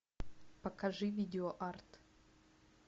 покажи видео арт